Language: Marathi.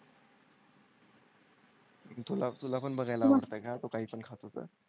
अन तुला तुला पण बघायला आवडते का? तो काहीपण खात होतं.